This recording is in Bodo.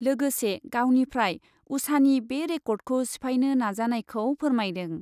लोगोसे गावनिफ्राय उषानि बे रेकर्डखौ सिफायनो नाजानायखौ फोरमायदों।